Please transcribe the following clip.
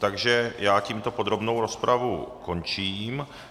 Takže já tímto podrobnou rozpravu končím.